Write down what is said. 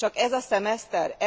Csak ez a szemeszter?